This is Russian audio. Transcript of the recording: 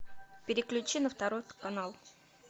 переключи на второй канал